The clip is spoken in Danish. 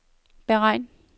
beregn